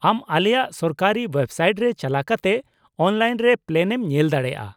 ᱼᱟᱢ ᱟᱞᱮᱭᱟᱜ ᱥᱚᱨᱠᱟᱨᱤ ᱳᱭᱮᱵᱥᱟᱭᱤᱴ ᱨᱮ ᱪᱟᱞᱟᱣ ᱠᱟᱛᱮ ᱚᱱᱞᱟᱭᱤᱱ ᱨᱮ ᱯᱞᱮᱱ ᱮᱢ ᱧᱮᱞ ᱫᱟᱲᱮᱭᱟᱜᱼᱟ ᱾